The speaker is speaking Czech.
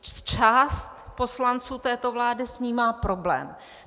Část poslanců této vlády s ní má problém.